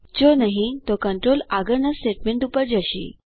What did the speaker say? જો નહિં તો કંટ્રોલ આગળના સ્ટેટમેન્ટ પર જશે